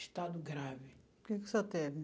Estado grave. O que que o senhor teve?